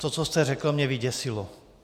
To, co jste řekl, mě vyděsilo.